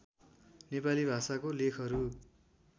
नेपाली भाषाको लेखहरू